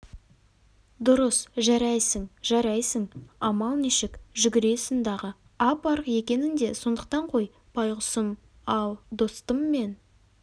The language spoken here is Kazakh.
дұрыс жарайсың жарайсың амал нешік жүгіресің дағы ап-арық екенің де сондықтан ғой байғұсым ал достым мен